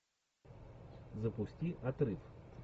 запусти отрыв